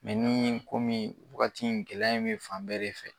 ni komin wagati in gɛlɛya bɛ fan bɛɛ de fɛ.